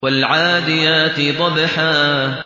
وَالْعَادِيَاتِ ضَبْحًا